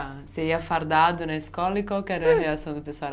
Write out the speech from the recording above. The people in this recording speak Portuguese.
Você ia fardado na escola e qual que era a reação do